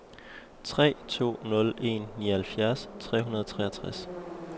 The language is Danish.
tre to nul en nioghalvfjerds tre hundrede og treogtres